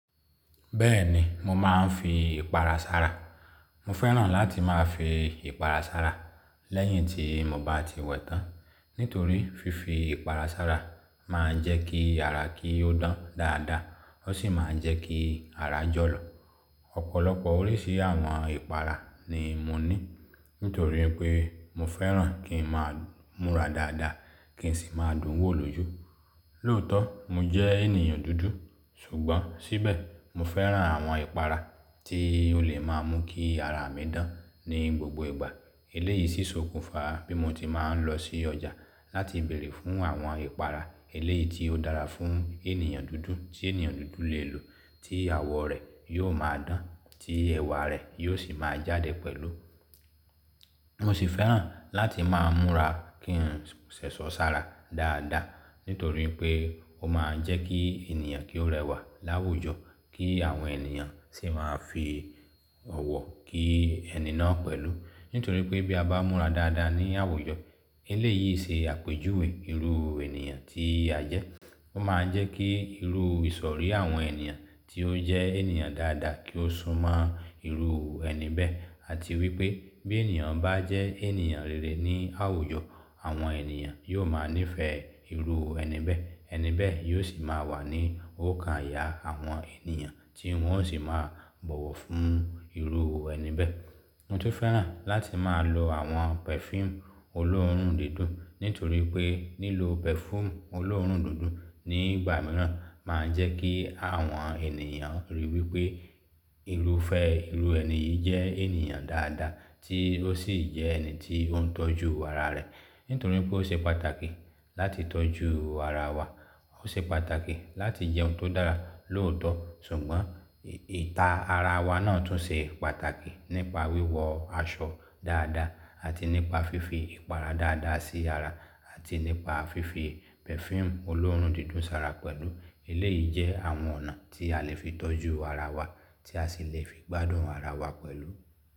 Bẹ́ẹ̀ni, mo máa ń fi ìpara sara. Mo fẹ́ràn láti máa fi ìpara sara lẹ́yìn tí mo bá ti wẹ tán, nítorí fífi ìpara sara máa ń jẹ́ kí ara kí ó dán dáadáa, ó sì máa ń jẹ́ kí ara jọ̀lọ̀. Ọ̀pọ̀lọpọ̀ oríṣi àwọn ìpara ni mo ní, nítorí pé mo fẹ́ràn kí n máa múra dáadáa kí n sì máa dùn wò lójú. Lóòótọ́, mo jẹ́ ènìyàn dúdú, ṣùgbọ́n síbẹ̀ mo fẹ́ràn àwọn ìpara tí ó lè máa mú kí ara mi dán ní gbogbo ìgbà. Eléyìí si ṣ'òkùnfa bí mo ti máa ń lọ sí ọjà láti bèèrè fún àwọn ìpara eléyìí tí ó dára fún ènìyàn dúdú tí ènìyàn dúdú lè lò tí àwọ̀ rẹ̀ yóò máa dán, tí ẹ̀wà rẹ̀ yóò sì máa jáde pẹ̀lú. Mo sì fẹ́ràn láti máa múra kí n ṣẹ̀ṣọ́ sara dáadáa, nítorí pé ó máa ń jẹ́ kí ènìyàn kí ó rẹwà láwùjọ kí àwọn ènìyàn sì máa fi ọ̀wọ̀ kí ẹni náà pẹ̀lú. Nítorí pé bí a bá múra dáadáa ní àwùjọ, eléyìí ṣe àpèjúwe irú ènìyàn tí a jẹ́. Ó máa ń jẹ́ kí irú ìsọ̀rí àwọn ènìyàn tí ó jẹ́ ènìyàn dáadáa kí ó súnmọ́ irú ẹni bẹ́ẹ̀ àti wípé bí ènìyàn bá jẹ́ ènìyàn rere ní àwùjọ, àwọn ènìyàn yóò máa nífẹ̀ẹ́ irú ẹni bẹ́ẹ̀, ẹni bẹ́ẹ̀ yóò sì máa wà ní òkàn ìyà àwọn ènìyàn tí wọ́n ó sì máa bọ̀wọ̀ fún irú ẹni bẹ́ẹ̀. Mo tún fẹ́ràn láti máa lo àwọn perfume olóòórùn dídùn, nítorí pé lílọ perfume olóòórùn dídùn nígbà mìíràn máa ń jẹ́ kí àwọn ènìyàn ríi wípé irúfẹ́ irú ẹni yìí jẹ́ ènìyàn dáadáa tí ó sì jẹ́ ẹni tí ó ń tọ́jú ara rẹ̀. Nítorí pé ó ṣe pàtàkì láti tọ́jú ara wa, ó ṣe pàtàkì láti jẹun tó dára, lóòótọ́, ṣùgbọ́n ìta ara wa náà tún ṣe pàtàkì nípa wíwọ aṣọ dáadáa àti nípa fífi ìpara dáadáa sí ara àti nípa fífi perfume olóòórùn dídùn sara pẹ̀lú. Eléyìí jẹ́ àwọn ọ̀nà tí a lè fi tọ́jú ara wa tí a sì lè fi gbádùn ara wa pẹ̀lú.